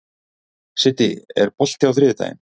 Siddi, er bolti á þriðjudaginn?